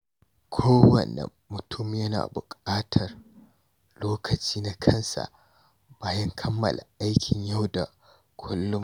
Kowane mutum yana bukatar lokaci na kansa bayan kammala aikin yau da kullum.